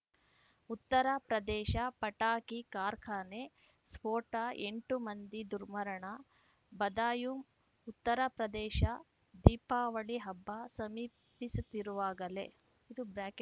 ಉತ್ತರ ಪ್ರದೇಶ ಪಟಾಕಿ ಕಾರ್ಖಾನೆ ಸ್ಫೋಟ ಎಂಟು ಮಂದಿ ದುರ್ಮರಣ ಬದಾಯೂಂಉತ್ತರ ಪ್ರದೇಶ ದೀಪಾವಳಿ ಹಬ್ಬ ಸಮೀಪಿಸುತ್ತಿರುವಾಗಲೇ